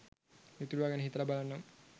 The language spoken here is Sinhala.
ඉතුරුවා ගැන හිතලා බලන්නම්